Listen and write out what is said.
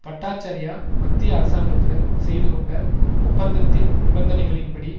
பட்டாச்சார்யா மத்திய அரசாங்கத்திடம் செய்து கொண்ட ஒப்பந்தத்தின் நிபந்தனைகளின் படி